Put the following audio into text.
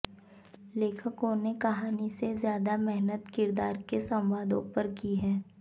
लेखकों ने कहानी से ज्यादा मेहनत किरदार और संवादों पर की हैं